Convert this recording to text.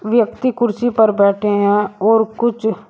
व्यक्ति कुर्सी पर बैठे हैं और कुछ--